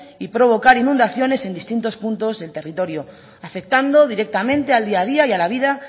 y provocar inundaciones en distintos puntos del territorio afectando directamente al día a día y a la vida